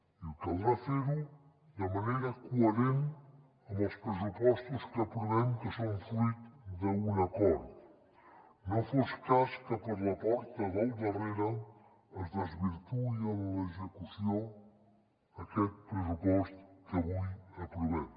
i caldrà fer ho de manera coherent amb els pressupostos que aprovem que són fruit d’un acord no fos cas que per la porta del darrere es desvirtuï en l’execució aquest pressupost que avui aprovem